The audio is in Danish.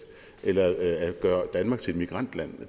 eller at gøre danmark til immigrantland